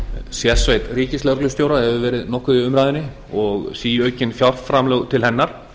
sérsveit ríkislögreglustjóra hefur verið nokkuð í umræðunni og síaukin fjárframlög til hennar